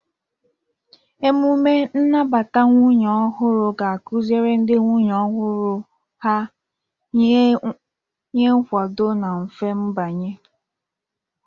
Emume nnabata nwunye ọhụrụ ga-akụziri ndị nwunye ọhụrụ ọrụ ha, nye nkwado na mfe mbanye.